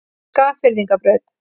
Skagfirðingabraut